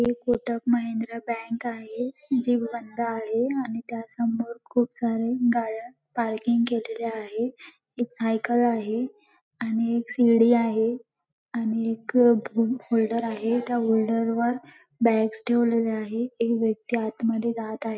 एक कोटक महिंद्रा बँक आहे जी बंद आहे आणि त्यासमोर खूप साऱ्या गाड्या पार्किंग केलेल्या आहे एक सायकल आहे आणि एक सीडी आहे आणि एक होल्डर आहे त्या होल्डर वर बॅगस ठेवलेल्या आहे एक व्यक्ती आतमध्ये जात आहे.